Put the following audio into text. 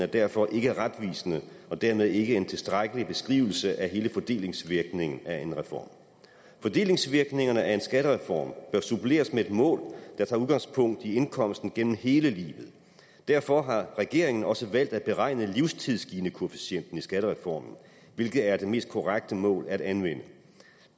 derfor ikke retvisende og dermed ikke en tilstrækkelig beskrivelse af hele fordelingsvirkningen af en reform fordelingsvirkningerne af en skattereform bør suppleres med et mål der tager udgangspunkt i indkomsten gennem hele livet derfor har regeringen også valgt at beregne livstids ginikoefficienten i skattereformen hvilket er det mest korrekte mål at anvende